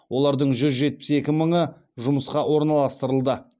олардың жүз жетпіс екі мыңы жұмысқа орналастырылды